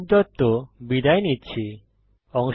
আমি কৌশিক দত্ত বিদায় নিচ্ছি